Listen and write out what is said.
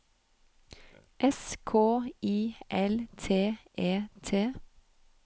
S K I L T E T